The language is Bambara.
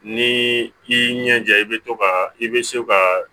Ni i y'i ɲɛja i bɛ to ka i bɛ se ka